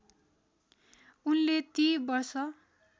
उनले ती वर्ष